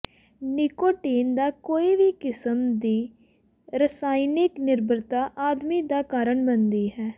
nicotine ਦਾ ਕੋਈ ਵੀ ਕਿਸਮ ਦੀ ਰਸਾਇਣਕ ਨਿਰਭਰਤਾ ਆਦਮੀ ਦਾ ਕਾਰਨ ਬਣਦੀ ਹੈ